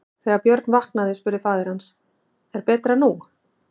Þegar Björn vaknaði spurði faðir hans: Er betra nú?